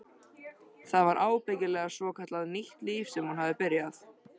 Það var ábyggilega svokallað nýtt líf sem hún hafði byrjað.